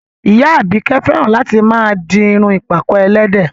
Ìyá Àbíkẹ́ fẹ́ràn láti máa di irun ìpàkọ́ ẹlẹ́dẹ̀